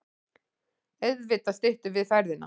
Auðvitað styttum við ferðina.